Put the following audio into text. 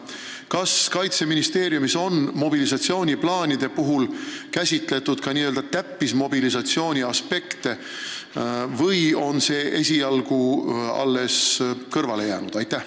Kas Kaitseministeeriumis on mobilisatsiooniplaane koostades silmas peetud ka n-ö täppismobilisatsiooni aspekte või on see esialgu kõrvale jäänud?